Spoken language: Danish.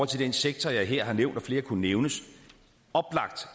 til den sektor jeg her har nævnt og flere kunne nævnes